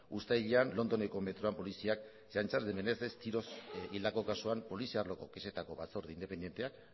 uztailean londoneko metroko poliziak antza denez tiroz hildako kasuan poliziako batzorde independenteak